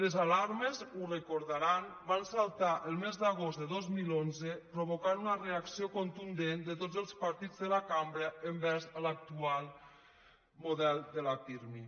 les alarmes ho deuen recordar van saltar el mes d’agost de dos mil onze i van provocar una reacció contundent de tots els partits de la cambra envers l’actual model de la pirmi